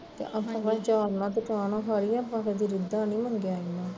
ਆਪਾਂ ਭਵੈ ਆਚਾਰ ਨਾਲ਼ ਤੇ ਚਾਹ ਨਾਲ਼ ਖਾ ਲਈ ਦੀ ਪਰ ਆਪਾਂ ਕਦੀ ਏਦਾਂ ਨੀ ਮੰਗਿਆ ਏਹਨਾ ਤੋਂ